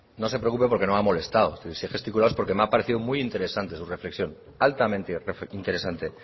no se preocupe porque no me ha molestado si he gesticulado ha sido porque me ha parecido muy interesante su reflexión altamente interesante